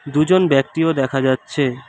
দুজন ব্যক্তিও দেখা যাচ্ছে।